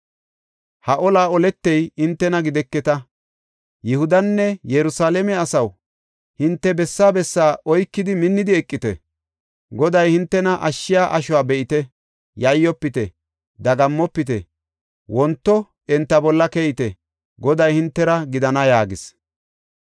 Ha olaa oletey hintena gideketa. Yihudanne Yerusalaame asaw, hinte bessaa bessaa oykidi minnidi eqite. Goday hintena ashshiya ashuwa be7ite. Yayyofite; dagammofite; wonto enta bolla keyite; Goday hintera gidana’ ” yaagis.